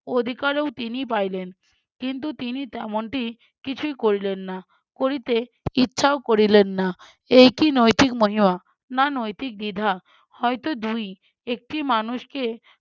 অধিকারও তিনি পাইলেন কিন্তু তিনি তেমনটি কিছুই করিলেন না করিতে ইচ্ছাও করিলেন না। এই কি নৈতিক মহিমা না নৈতিক দ্বিধা, হয়তো দুই-ই। একটি মানুষকে